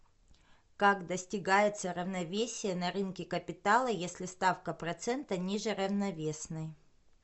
как достигается равновесие на рынке капитала если ставка процента ниже равновесной